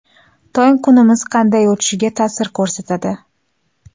Tong kunimiz qanday o‘tishiga ta’sir ko‘rsatadi.